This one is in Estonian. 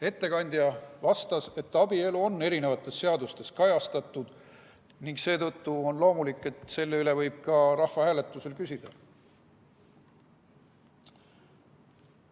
Ettekandja vastas, et abielu on eri seadustes kajastatud ning seetõttu on loomulik, et selle kohta võib ka rahvahääletusel küsida.